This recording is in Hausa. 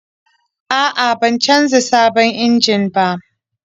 A'a, ban canza sabon injin ba.